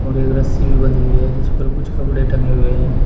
एक रस्सी भी बंधी हुई है जिस पर कुछ कपड़े टंगे हुए हैं।